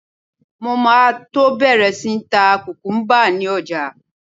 Mo máa tó bẹ̀rẹ̀ sí ń ta kùkúmbà ni ọjà.